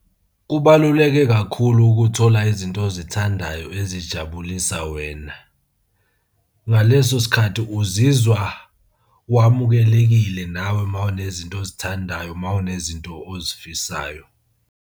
Kubaluleke kakhulu ukuthola izinto ozithandayo ezijabulisa wena. Ngaleso sikhathi uzizwa wamukelekile nawe uma unezinto ozithandayo, uma unezinto ozifisayo.